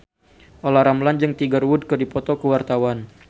Olla Ramlan jeung Tiger Wood keur dipoto ku wartawan